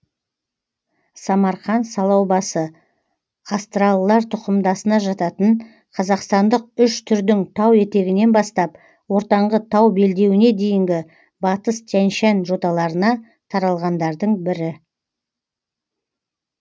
самарқан салаубасы астралылар тұқымдасына жататын қазақстандық үш түрдің тау етегінен бастап ортаңғы тау белдеуіне дейінгі батыс тянь шань жоталарына таралғандардың бірі